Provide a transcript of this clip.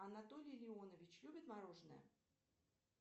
анатолий леонович любит мороженное